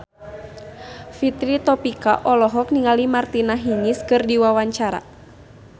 Fitri Tropika olohok ningali Martina Hingis keur diwawancara